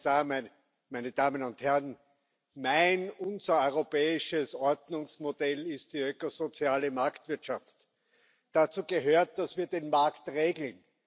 Herr Kommissar, meine Damen und Herren, mein, unser, europäisches Ordnungsmodell ist die ökosoziale Marktwirtschaft. Dazu gehört, dass wir den Markt regeln.